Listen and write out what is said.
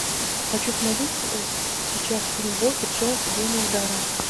хочу смотреть сейчас фильм бобби джонс гений удара